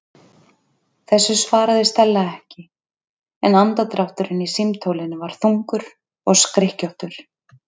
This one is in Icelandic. Þessu svaraði Stella ekki en andardrátturinn í símtólinu var þungur og skrykkjóttur.